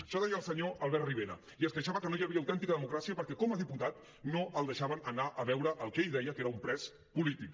això ho deia el senyor albert rivera i es queixava que no hi havia autèntica democràcia perquè com a diputat no el deixaven anar a veure el que ell deia que era un pres polític